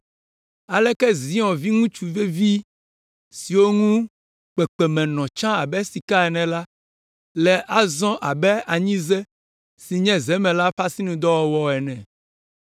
Aleke Zion viŋutsu vevi siwo ŋu kpekpeme nɔ tsã abe sika ene la, le azɔ abe anyize si nye zemela ƒe asinudɔwɔwɔ ene!